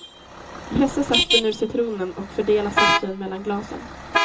Pressa saften ur citronen och fördela saften mellan glasen.